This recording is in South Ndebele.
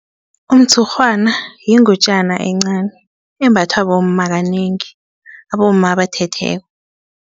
Umtshurhwana yingutjana encani embathwa bomma kanengi abomma abathetheko.